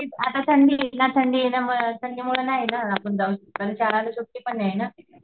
आत्ता थंडी आत्ता थंडीये ना मग थंडीमध्ये नाही ना जाऊ शकत आणि शाळांना सुट्टी पण नाही ना.